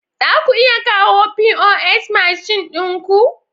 Za ku iya kawo pos mashin ɗin ku?